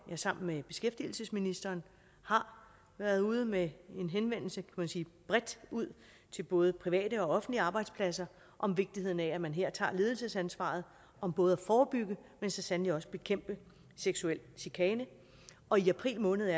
jeg sammen med beskæftigelsesministeren har været ude med en henvendelse bredt ud til både private og offentlige arbejdspladser om vigtigheden af at man her tager ledelsesansvaret om både at forebygge men så sandelig også at bekæmpe seksuel chikane og i april måned